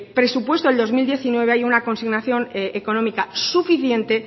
presupuesto del dos mil diecinueve haya una consignación económica suficiente